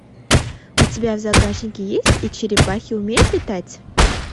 у тебя в загашнике есть и черепахи умеют летать